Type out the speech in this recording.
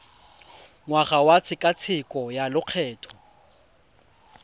ngwaga wa tshekatsheko ya lokgetho